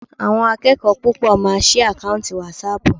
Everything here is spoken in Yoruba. Àwọn akẹ́kọ̀ọ́ púpọ̀ máa sí àkáùntì wásaàpù.